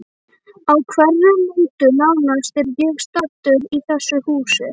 Á hverri nóttu nánast er ég staddur í þessu húsi.